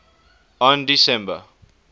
on december